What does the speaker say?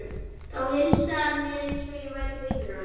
Þá heilsaði hann mér eins og ég væri vinur hans.